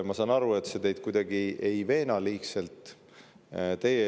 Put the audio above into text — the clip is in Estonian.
Ma saan aru, et see teid kuidagi liigselt ei veena.